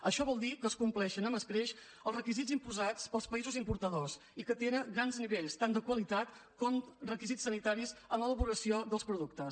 això vol dir que es compleixen amb escreix els requisits imposats pels països importadors i que tenen grans nivells tant de qualitat com requisits sanitaris en l’elaboració dels productes